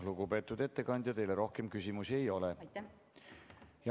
Lugupeetud ettekandja, teile rohkem küsimusi ei ole.